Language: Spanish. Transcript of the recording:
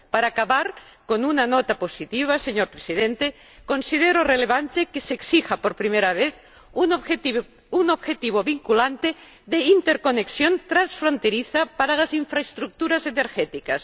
Para acabar con una nota positiva, señor Presidente, considero relevante que se exija por primera vez un objetivo vinculante de interconexión transfronteriza para las infraestructuras energéticas.